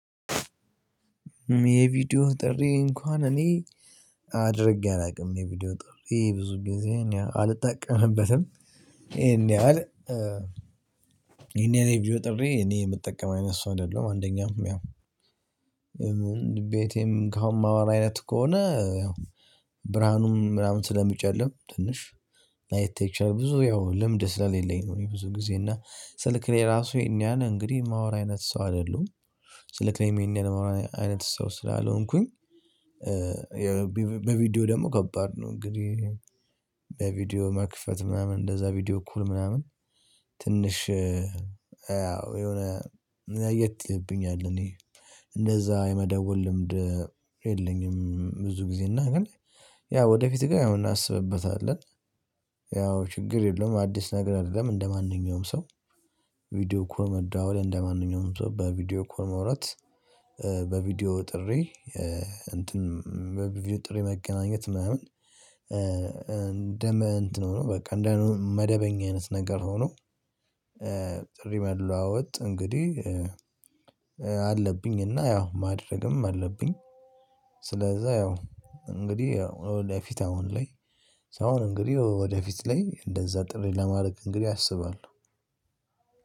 የቪዲዮ ጥሪ እንኳን እኔ አድርጌ አላውቅም የቪዲዮ ጥሪ ብዙ ጊዜ አልጠቀምበትም። ይሄን ያህል ይሄን ያህል ቪዲዮ ጥሪ እኔ የምጠቀም አይነት ሰው አይደለሁም። አንደኛ ያው ቤቴም ከአሁን ማወራ አይነት ከሆነ ያው ብርሃኑም ምናምን ስለሚጨልም ትንሽ ላይታይ ይችላል ብዙ ያው ልምድ ስለሌለኝ ነው። እኔ ብዙ ጊዜ እና ስልክ ላይ ራሱ ይህን ያህል እንግዲህ የማወራ አይነት ሰው አይደሉም። ስልክ ላይም የማወራ አይነት ሰው ስላልሆንኩኝ። በቪዲዮ ደግሞ ከባድ ነው። እንግዲህ መክፈት ምናምን እንደዛ ቪዲዮ ኮል ምናምን ትንሽ ያው የሆነ እኔ ለየት ይልብኛል እኔ እንደዛ የመደወል ልምድ የለኝም። ብዙ ጊዜ እና ግን ያው ወደፊት ጋር አሁን እናስብበታለን። ያው ችግር የለም አዲስ ነገር አይደለም። እንደማንኛውም ሰው ቪዲዮ ኮል መደዋወል እንደማንኛውም ሰው በቪዲዮ ኮል ማውራት። በቪዲዮ ጥሪ እንትን በቪዲዮ ጥሪ መገናኘት ምናምን እንደመ እንትን ሆኖ በቃ እንደመደበኛ አይነት ነገር ሆኖ። ጥሪ መለዋወጥ እንግዲህ አለብኝ እና ያው ማድረግም አለብኝ። ስለዛ ያው እንግዲህ ወደፊት አሁን ላይ አሁን እንግዲህ ወደፊት ላይ እንደዛ ጥሪ ለማድረግ እንግዲህ አስባለሁ።